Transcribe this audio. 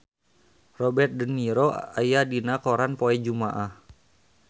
Robert de Niro aya dina koran poe Jumaah